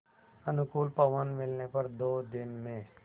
अनुकूल पवन मिलने पर दो दिन में